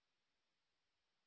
লেখাটি আন্ডারলাইন করুন